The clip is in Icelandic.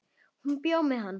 Hún bjó með hann á